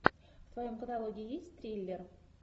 в твоем каталоге есть триллер